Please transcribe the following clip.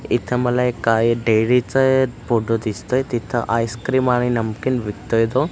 इथे मला एक काय डेअरी चा फोटो दिसतोय. तिथं आईस्क्रीम आणि नमकीन विकतोयं तो.